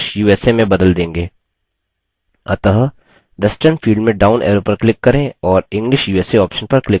अतः western field में down arrow पर क्लिक करें और english usa ऑप्शन पर क्लिक करें